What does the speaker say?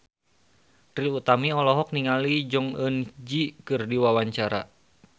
Trie Utami olohok ningali Jong Eun Ji keur diwawancara